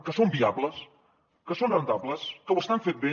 que són viables que són rendibles que ho estan fent bé